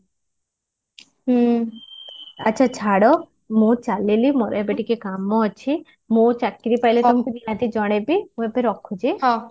ହୁଁ ଆଚ୍ଛା ଛାଡ ମୁଁ ଚାଲିଲି ମୋର ଏବେ ଟିକେ କାମ ଅଛି ମୁଁ ଚାକିରି ପାଇଲେ ତମକୁ ମୁଁ ନିହାତି ଜଣେଇବି ମୁଁ ଏବେ ରଖୁଛି